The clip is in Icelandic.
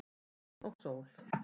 Vatn og sól